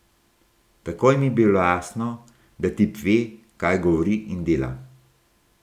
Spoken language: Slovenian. Takoj mi je bilo jasno, da tip ve, kaj govori in dela.